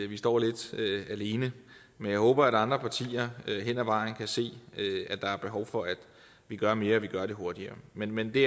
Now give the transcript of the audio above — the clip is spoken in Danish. vi står lidt alene men jeg håber at andre partier hen ad vejen kan se at der er behov for at vi gør mere og at vi gør det hurtigere men men det